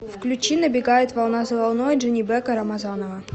включи набегает волна за волной джанибека рамазанова